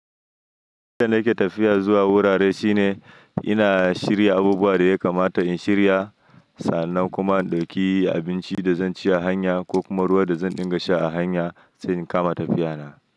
Yadda nake tafiya zuwa wurare shine ina shirya abubuwan da ya kamata in shirya, sannan kuma in ɗauki abinci da zan ci a hanya ko kuma ruwa da zan dinga sha a hanya sai in kama tafiya na.